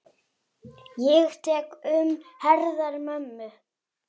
Ég tek um herðar mömmu.